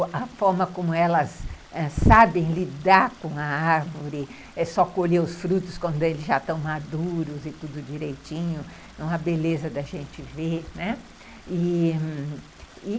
A forma como elas ãh sabem lidar com a árvore, é só colher os frutos quando eles já estão maduros e tudo direitinho, é uma beleza da gente ver, né, e ...